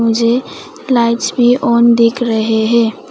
मुझे लाइट्स भी ऑन दिख रहे है।